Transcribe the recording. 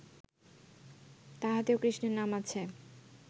তাহাতেও কৃষ্ণের নাম আছে